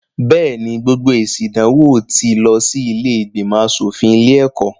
Bẹ́ẹ̀ ni, gbogbo èsì ìdánwò tí lọ sí ilé ìgbìnmọ̀ aṣọ̀fin ilé-ẹ̀kọ́.